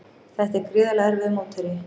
Þetta er gríðarlega erfiður mótherji